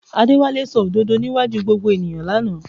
Adéwálé sọ òdodo níwájú gbogbo ènìyàn lánàá